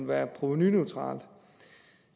være provenuneutralt